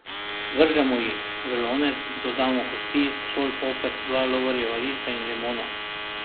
Vržemo jih v lonec, dodamo kosti, sol, poper, dva lovorjeva lista in limono.